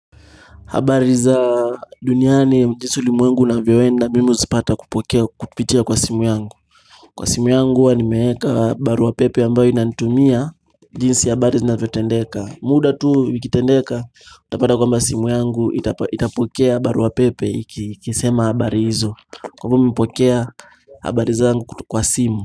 Habari za duniani jinsi ulimwengu unavyoenda mimi huzipata kupitia kwa simu yangu Kwa simu yangu huwa nimeweka barua pepe ambayo inanitumia jinsi habari zinavyotendeka muda tu zikitendeka Utapata kwamba simu yangu itapokea barua pepe ikisema habari hizo kwa hivyo mimi hupokea habari zangu kwa simu.